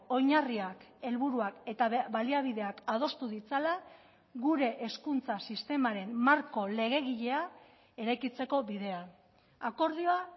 oinarriak helburuak eta baliabideak adostu ditzala gure hezkuntza sistemaren marko legegilea eraikitzeko bidean akordioa